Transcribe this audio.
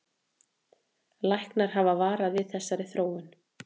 Læknar hafa varað við þessari þróun